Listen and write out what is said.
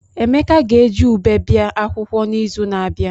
Emeka ga-eji ụbe bia akwụkwọ n'izu na-abịa.